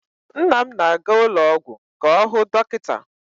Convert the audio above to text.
Nna m na-aga ụlọọgwụ ka ọ hụ dọkịta.